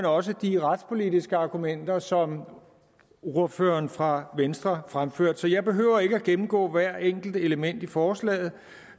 også de retspolitiske argumenter som ordføreren fra venstre fremførte så jeg behøver ikke gennemgå hvert enkelt element i forslaget